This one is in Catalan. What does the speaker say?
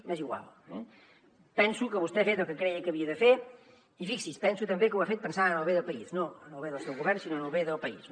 m’és igual eh penso que vostè ha fet el que creia que havia de fer i fixi’s penso també que ho ha fet pensant en el bé de país no en el bé del seu govern sinó en el bé del país